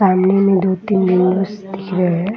सामने मे दो तीन रूम्स दिख रहे हैं |